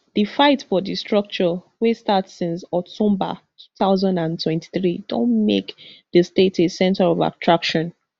di fight for di structure wey start since october two thousand and twenty-three don make di state a center of attraction